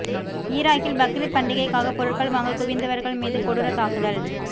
ஈராக்கில் பக்ரீத் பண்டிகைக்காக பொருட்கள் வாங்க குவிந்தவர்கள் மீது கொடூர தாக்குதல்